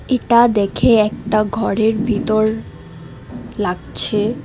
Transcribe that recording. ইটা দেখে একটা ঘরের ভিতর লাগছে।